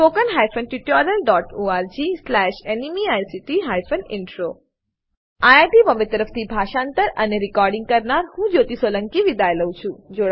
httpspoken tutorialorgNMEICT Intro IIT Bombay તરફથી હું જ્યોતી સોલંકી વિદાય લઉં છું